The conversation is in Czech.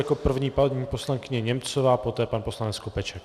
Jako první paní poslankyně Němcové, poté pan poslanec Skopeček.